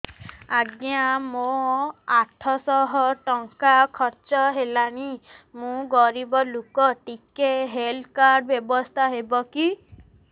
ଆଜ୍ଞା ମୋ ଆଠ ସହ ଟଙ୍କା ଖର୍ଚ୍ଚ ହେଲାଣି ମୁଁ ଗରିବ ଲୁକ ଟିକେ ହେଲ୍ଥ କାର୍ଡ ବ୍ୟବସ୍ଥା ହବ କି